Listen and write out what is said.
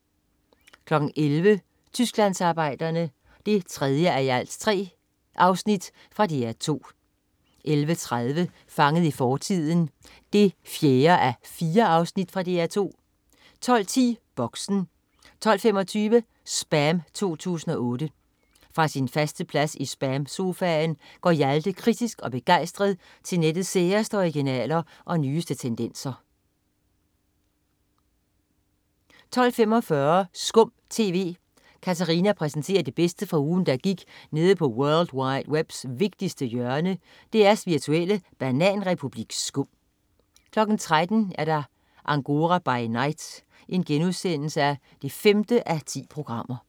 11.00 Tysklandsarbejderne 3:3. fra DR 2 11.30 Fanget i fortiden 4:4. Fra DR 2 12.10 Boxen 12.25 SPAM 2008. Fra sin faste plads i SPAM-sofaen går Hjalte kritisk og begejstret til nettets særeste originaler og nyeste tendenser 12.45 SKUM TV. Katarina præsenterer det bedste fra ugen, der gik nede på world wide webs vigtigste hjørne, DR's virtuelle bananrepublik SKUM 13.00 Angora by night 5:10*